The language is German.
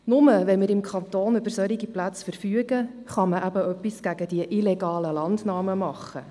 Nur wenn wir im Kanton Bern über solche Plätze verfügen, kann man eben etwas gegen diese illegalen Landnahmen tun.